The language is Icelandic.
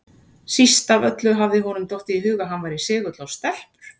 Síst af öllu hafði honum dottið í hug að hann væri segull á stelpur!